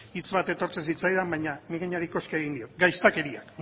hitz bat etortzen zitzaidan baina mingainari koska egin diot gaiztakeriak